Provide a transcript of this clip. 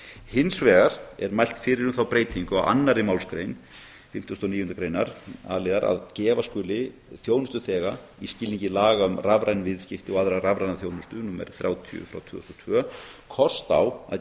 hins vegar er mælt fyrir um þá breytingu á annarri málsgrein fimmtugustu og níundu greinar a liðar að gefa skuli þjónustuþega í skilningi laga um rafræn viðskipti og aðra rafræna þjónustu númer þrjátíu frá tvö þúsund og tvö kost á að